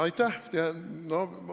Aitäh!